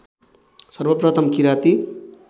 सर्वप्रथम किराती